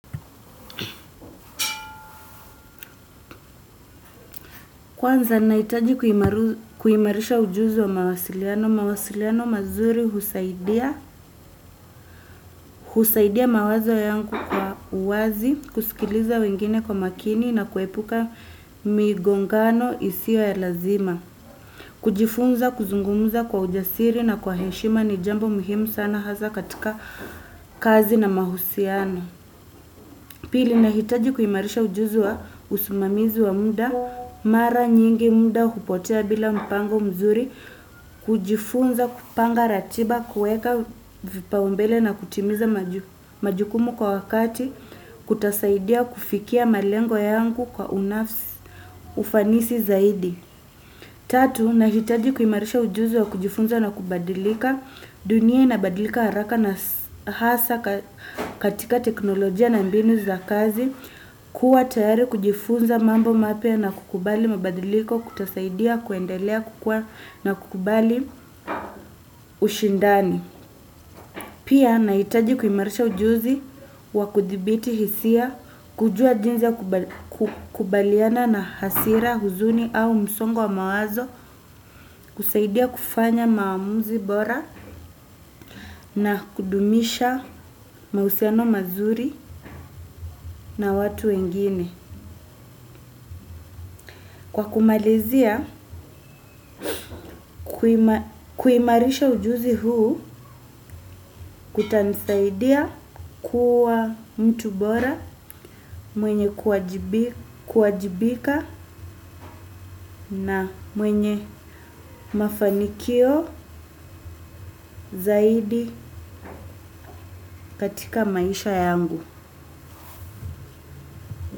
Kwanza nahitaji kuimarisha ujuzi wa mawasiliano, mawasiliano mazuri husaidia mawazo yangu kwa uwazi, kusikiliza wengine kwa makini na kuepuka migongano isio ya lazima. Kujifunza, kuzungumuza kwa ujasiri na kwa heshima ni jambo muhimu sana hasa katika kazi na mahusiano. Pili nahitaji kuimarisha ujuzi wa usimamizi wa muda mara nyingi muda hupotea bila mpango mzuri kujifunza kupanga ratiba, kuweka vipaumbele na kutimiza majukumu kwa wakati, kutasaidia kufikia malengo yangu kwa unafsi ufanisi zaidi. Tatu, nahitaji kuimarisha ujuzi wa kujifunza na kubadilika dunia inabadilika haraka na hasa katika teknolojia na mbinu za kazi kuwa tayari kujifunza mambo mapya na kukubali mabadiliko kutasaidia kuendelea kukua na kukubali ushindani pia nahitaji kuimarisha ujuzi wa kudhibiti hisia kujua jinsi ya kukubaliana na hasira huzuni au msongo wa mawazo kusaidia kufanya maamuzi bora na kudumisha mahusiano mazuri na watu wengine. Kwa kumalizia, kuimarisha ujuzi huu kutanisaidia kuwa mtu bora mwenye kuwajibika na mwenye mafanikio zaidi katika maisha yangu.